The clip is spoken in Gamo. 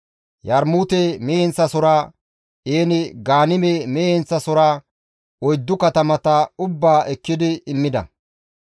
Yarmuute mehe heenththasohora, En-Gaanime mehe heenththasohora, oyddu katamata ubbaa ekkidi immida.